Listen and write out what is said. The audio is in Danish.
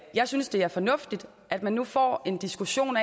jeg synes det er fornuftigt at man nu får en diskussion